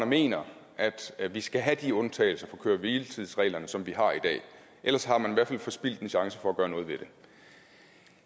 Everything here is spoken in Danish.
mener at vi skal have de undtagelser fra køre hvile tids reglerne som vi har i dag ellers har man i hvert fald forspildt en chance for at gøre noget ved det